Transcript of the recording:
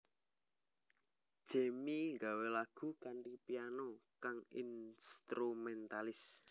Jamie gawé lagu kanthi piano kang instrumentalis